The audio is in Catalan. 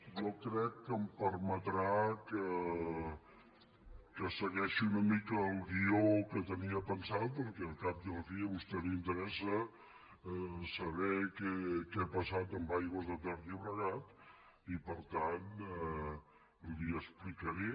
jo crec que em permetrà que segueixi una mica el guió que tenia pensat perquè al cap i a la fi a vostè li interessa saber què ha passat amb aigües ter llobregat i per tant li ho explicaré